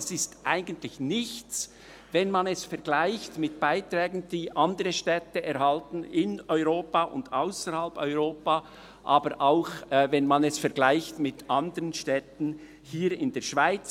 Das ist eigentlich nichts, wenn man sie mit Beiträgen vergleicht, die andere Städte in Europa und ausserhalb Europas oder auch hier in der Schweiz erhalten.